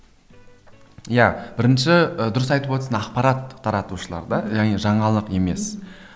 иә бірінші і дұрыс айтып отырсың ақпарат таратушылар да яғни жаңалық емес